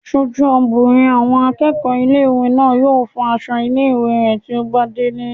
Aṣojú obìnrin àwọn akẹ́kọ̀ọ́ ilé-ìwé náà yóò fọ aṣọ ilé-ìwé rẹ̀ tí ó bá délé